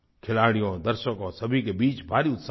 खिलाड़ियों दर्शकों सभी के बीच भारी उत्साह था